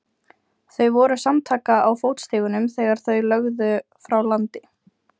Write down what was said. Þau voru samtaka á fótstigunum þegar þau lögðu frá landi.